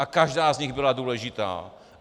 A každá z nich byla důležitá.